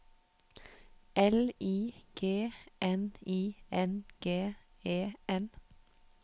L I G N I N G E N